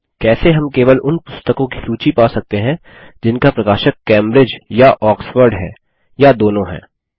कैसे हम केवल उन पुस्तकों की सूची पा सकते हैं जिनका प्रकाशक कैम्ब्रिज या आक्सफोर्ड है या दोनों हैं